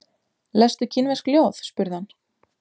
Lestu kínversk ljóð? spurði hann.